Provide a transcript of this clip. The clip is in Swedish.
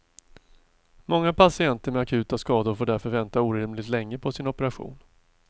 Många patienter med akuta skador får därför vänta orimligt länge på sin operation.